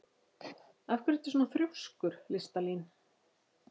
Af hverju ertu svona þrjóskur, Listalín?